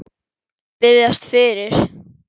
Biðjast fyrir?